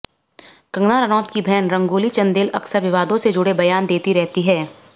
कंगना रनौत की बहन रंगोली चंदेल अक्सर विवादों से जुड़े बयान देती रहती है